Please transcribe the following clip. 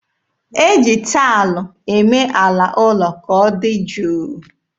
E ji taịlụ eme ala ụlọ ka ọ dị jụụ.